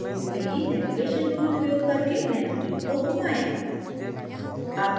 अच्छे view के लिए navigation tool उपयोग करके nanotube को घुमाएं